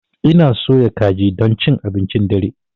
Ina soya kaji don cin abincin dare.